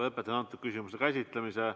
Lõpetan antud küsimuse käsitlemise.